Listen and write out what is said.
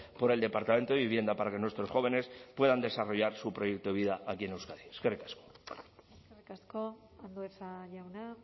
por el departamento de vivienda para que nuestros jóvenes puedan desarrollar su proyecto de vida aquí en euskadi eskerrik asko eskerrik asko andueza jauna